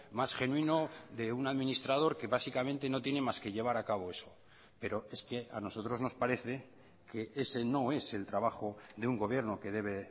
más genuino de un administrador que básicamente no tiene más que llevar acabo eso pero es que a nosotros nos parece que ese no es el trabajo de un gobierno que debe